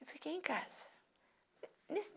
Fiquei em casa. Nesse